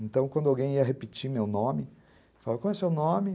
Então, quando alguém ia repetir meu nome, falava, como é seu nome?